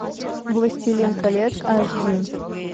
властелин колец аш ди